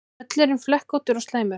Völlurinn flekkóttur og slæmur